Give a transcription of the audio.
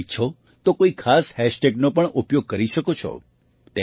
તમે ઈચ્છો તો કોઈ ખાસ હેશટેગનો પણ ઉપયોગ કરી શકો છો